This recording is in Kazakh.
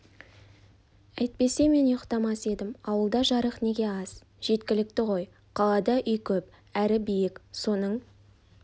әйтпесе мен ұйықтамас едім ауылда жарық неге аз жеткілікті ғой қалада үй көп әрі биік соның